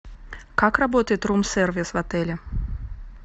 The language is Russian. как работает рум сервис в отеле